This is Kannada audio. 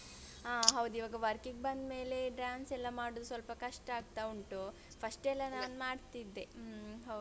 ಹಾ ಹೌದು ಇವಾಗ work ಇಗ್ ಬಂದ್ಮೇಲೆ dance ಎಲ್ಲ ಮಾಡುದು ಸ್ವಲ್ಪ ಕಷ್ಟ ಆಗ್ತ ಉಂಟು first ಎಲ್ಲ ನಾನ್ ಮಾಡ್ತಿದ್ದೆ ಹ್ಮ ಹೌದು.